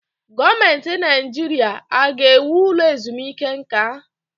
Gọọmenti Naijiria a ga-ewu ụlọ ezumike nka?